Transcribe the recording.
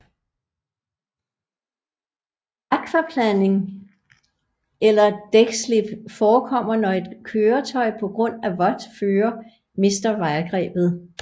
Akvaplaning eller dækslip forekommer når et køretøj på grund af vådt føre mister vejgrebet